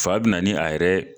Fa bɛna ni a yɛrɛ